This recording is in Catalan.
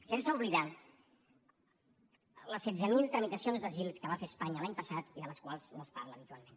sense oblidar les setze mil tramitacions d’asil que va fer espanya l’any passat i de les quals no es parla habitualment